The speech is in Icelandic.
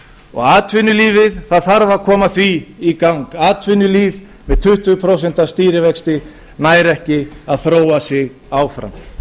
og atvinnulífið það þarf að koma því í gang atvinnulíf með tuttugu prósent stýrivexti nær ekki að þróa sig áfram